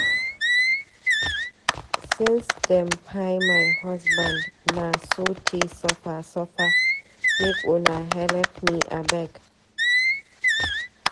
Since dem kpai my husband na sote suffer suffer, make una helep me abeg.